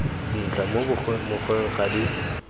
dintlha mo mokgweng ga di